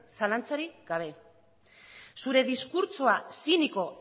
zalantzarik gabe zure diskurtsoa ziniko